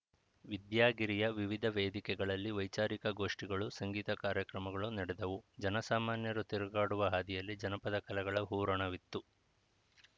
ವಿದ್ಯಾಗಿರಿಯ ವಿವಿಧ ವೇದಿಕೆಗಳಲ್ಲಿ ವೈಚಾರಿಕ ಗೋಷ್ಠಿಗಳು ಸಂಗೀತ ಕಾರ್ಯಕ್ರಮಗಳು ನಡೆದವು ಜನಸಾಮಾನ್ಯರು ತಿರುಗಾಡುವ ಹಾದಿಯಲ್ಲಿ ಜನಪದ ಕಲೆಗಳ ಹೂರಣವಿತ್ತು